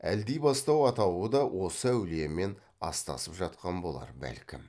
әлдибастау атауы да осы әулиемен астасып жатқан болар бәлкім